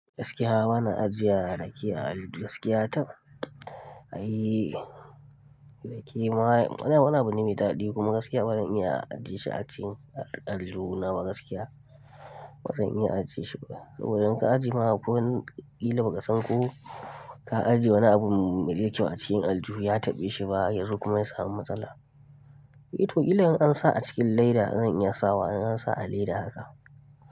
Gaskiya bana ajiye rake al gaskiya tab Ayii, rake ma ana wani me daɗi kuma gaskiya bazan iya ajiye shi a cikin allo na ba gaskiya bazan iya ajiye shi ba. Saboda in ka ajiye ma ko wani kila ba ka san ko ka ajiye wani abun mu iya cewa acikin aljihu ya taɓu shi ba yanzu kuma ya samu matsala. Eh to kila in an sa a cikin leda zan iya sawa in an sa a leda haka.